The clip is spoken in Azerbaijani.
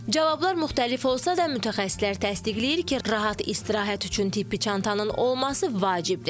Cavablar müxtəlif olsa da, mütəxəssislər təsdiqləyir ki, rahat istirahət üçün tibbi çantanın olması vacibdir.